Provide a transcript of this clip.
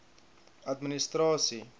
administrasie